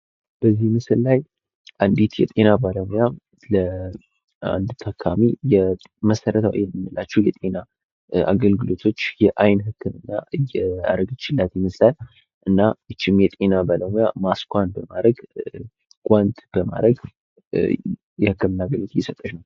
በዚህ ምስል ላይ አንዲት የጤና ባለሙያ ለአንድ ታካሚ መሰረታዊ የምንላቸው የጤና አገልግሎቶቾ የአይን ሆክምና እያረገችላት ይመስላል። እና ይችም የጤና ባለሙያ ማስሷን በማድረግመ፣ ጓንት በማድረግ የህክምና አገልግሎት እየሰጠች ነው።